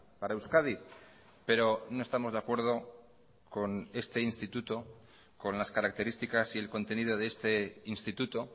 para euskadi pero no estamos de acuerdo con este instituto con las características y el contenido de este instituto